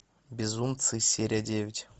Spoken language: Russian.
безумцы серия девять